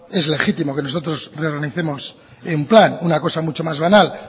es legítimo que nosotros reorganicemos en plan una cosa mucho más banal